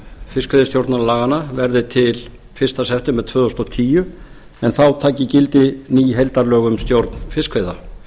fiskveiðistjórnarlaganna verði til fyrsta september tvö þúsund og tíu en þá taki gildi ný heildarlög um stjórn fiskveiða